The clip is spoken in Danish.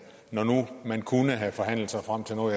når nu man kunne have forhandlet sig frem til noget